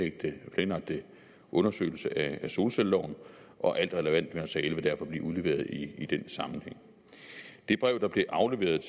i den planlagte undersøgelse af solcelleloven og alt relevant her sag vil derfor blive udleveret i den sammenhæng det brev der blev afleveret